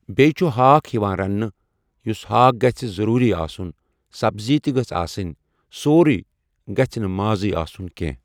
بیٚیہِ چھِ ہاکھ یِوان رَننہٕ یُس ہاکھ گَژھِ ضٔروٗری آسُن سبزی تہِ گٔژھ آسٕنۍ سورُے گژھِ نہٕ مازٕے آسُن کینٛہہ۔